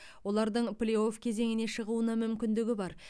олардың плей офф кезеңіне шығуына мүмкіндігі бар